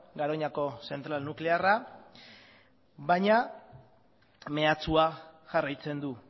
garoñako zentral nuklearra baina mehatxua jarraitzen du